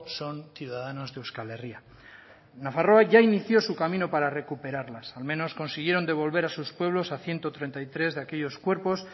son ciudadanos de euskal herria nafarroa ya inició su camino para recuperarlas al menos consiguieron devolver a sus pueblos a ciento treinta y tres de aquellos cuerpos